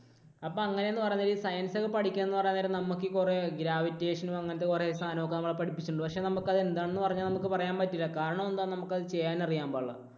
അപ്പോൾ അങ്ങനെ എന്ന് പറയാൻ നേരം ഈ science ഒക്കെ പഠിക്കണം എന്ന് പറയാൻ നേരം നമുക്ക് ഈ കുറെ gravitation അങ്ങനത്തെ കുറെ സാധനങ്ങൾ ഒക്കെ നമ്മളെ പഠിപ്പിച്ചിട്ടുണ്ട്. പക്ഷേ നമുക്ക് അത് എന്താണെന്ന് പറഞ്ഞാൽ നമുക്ക് പറയാൻ പറ്റില്ല. കാരണം എന്താ, നമുക്ക് ചെയ്യാൻ അറിയാൻ പാടില്ല